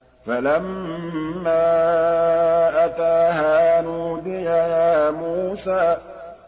فَلَمَّا أَتَاهَا نُودِيَ يَا مُوسَىٰ